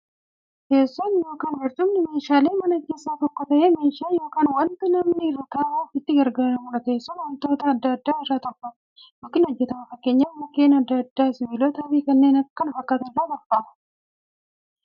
Teessoon yookiin barcumni meeshaalee manaa keessaa tokko ta'ee, meeshaa yookiin wanta namni irra ta'uuf itti gargaaramuudha. Teessoon wantoota adda addaa irraa tolfama yookiin hojjatama. Fakkeenyaf Mukkeen adda addaa, sibilootaafi kanneen kana fakkaatan irraa tolfamu.